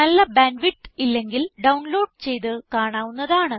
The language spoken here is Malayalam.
നല്ല ബാൻഡ് വിഡ്ത്ത് ഇല്ലെങ്കിൽ ഡൌൺ ലോഡ് ചെയ്ത് കാണാവുന്നതാണ്